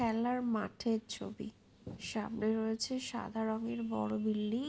খেলাটি মাঠের ছবি। সামনে রয়েছে সাদা রঙের বড়ো বিল্ডিং |